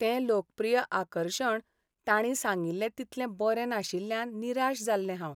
तें लोकप्रिय आकर्शण तांणी सांगिल्लें तितलें बरें नाशिल्ल्यान निराश जाल्लें हांव.